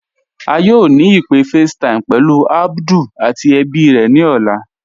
À yóò ni ìpé FaceTime pẹ̀lú Abdul àti èbí rè ni ọlá.